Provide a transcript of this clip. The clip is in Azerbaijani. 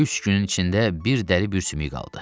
Üç günün içində bir dəri bir sümüyü qaldı.